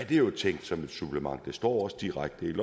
jo tænkt som et supplement det står også direkte i